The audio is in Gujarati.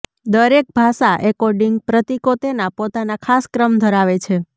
દરેક ભાષા એન્કોડિંગ પ્રતીકો તેના પોતાના ખાસ ક્રમ ધરાવે છે